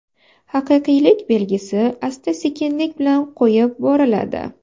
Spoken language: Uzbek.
Haqiqiylik belgisi asta-sekinlik bilan qo‘yib boriladi.